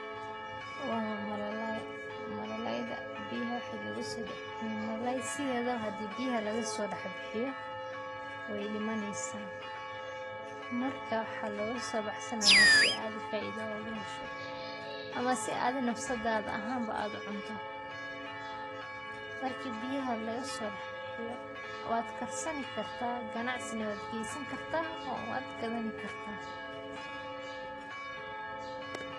Wa malalay, malalay sidhedaba hadi biyaha lagaso dax bixiyo wey dhimaneysaah, marka waxaa logasobaxsanayaah si adi faida oga hesho ama si adhi nafsada ahan aa u cunto, marki biyaha lagasodaxbixiyo wad karsani kartah ganacsi na wad gesani kartah oo wad gadani kartah